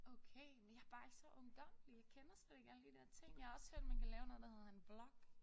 Okay men jeg bare ikke så ungdommelig jeg kender slet ikke alle de der ting jeg har også hørt man kan lave noget der hedder en vlog